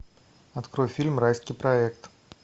открой фильм райский проект